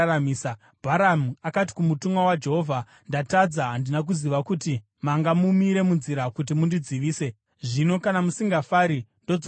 Bharamu akati kumutumwa waJehovha, “Ndatadza. Handina kuziva kuti manga mumire munzira kuti mundidzivise. Zvino kana musingafari, ndodzokera hangu.”